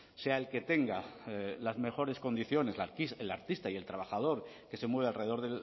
sea el que tenga las mejores condiciones el artista y el trabajador que se mueve alrededor